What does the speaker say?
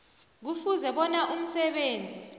kufuze bona umsebenzi